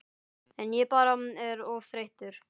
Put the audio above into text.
En ég bara er of þreyttur